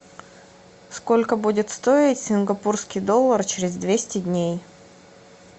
сколько будет стоить сингапурский доллар через двести дней